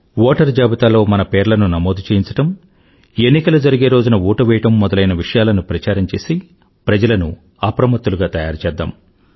ఓటరుజాబితాలో మన పేర్లను నమోదు చేయించడం ఎన్నికలు జరిగే రోజున ఓటు వెయ్యడం మొదలైన విషయాలను ప్రచారం చేసి ప్రజలను అప్రమత్తులుగా తయారుచేద్దాం